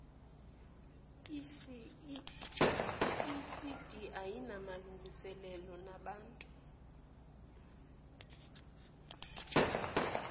icd ayinamalungiselelo namuntu